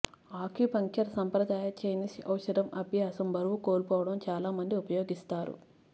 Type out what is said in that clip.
acupuncture సంప్రదాయ Chinese ఔషధం అభ్యాసం బరువు కోల్పోవడం చాలా మంది ఉపయోగిస్తారు